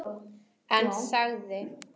En þagði.